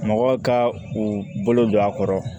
Mɔgɔ ka u bolo don a kɔrɔ